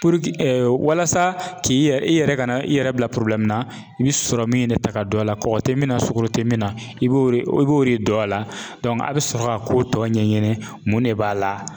walasa k'i yɛrɛ i yɛrɛ ka na i yɛrɛ bila na i bɛ sɔrɔ min de ta ka don a la kɔkɔ tɛ min na sukaro tɛ min na i bɛ i b'o de dɔn a la a bɛ sɔrɔ ka ko tɔ ɲɛɲini mun de b'a la.